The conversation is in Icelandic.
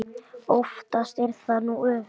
Oftast er það nú öfugt.